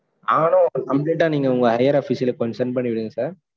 ஆனா அப்பிடி, complete ஆ, நீங்க, உங்க higher official க்கு கொஞ்சம், send பண்ணி விடுங்க, sir